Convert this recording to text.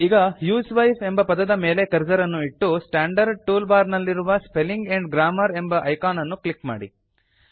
ಈಗ ಹ್ಯೂಸ್ವೈಫ್ ಎಂಬ ಪದದ ಮೇಲೆ ಕರ್ಸರ್ ಅನ್ನು ಇಟ್ಟು ಸ್ಟಾಂಡರ್ಡ್ ಟೂಲ್ ಬಾರ್ ನಲ್ಲಿರುವ ಸ್ಪೆಲ್ಲಿಂಗ್ ಆಂಡ್ ಗ್ರಾಮರ್ ಎಂಬ ಐಕಾನ್ ಅನ್ನು ಕ್ಲಿಕ್ ಮಾಡಿ